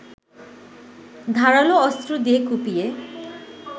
ধারালো অস্ত্র দিয়ে কুপিয়ে